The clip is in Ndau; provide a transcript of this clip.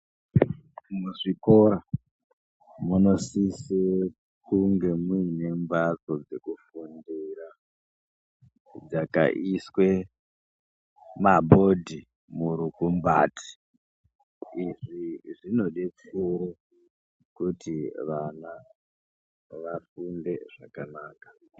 Muzvikora munosise kunge mune mbatso dzekufundira, dzakaiswe mabhodhi murukumbati. Izvi zvinodetsere kuti vana vafunde zvakanaka.